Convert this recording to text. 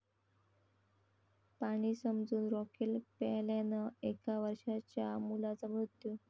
पाणी समजून रॉकेल प्यायल्यानं एका वर्षांच्या मुलाचा मृत्यू